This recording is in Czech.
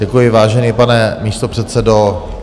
Děkuji, vážený pane místopředsedo.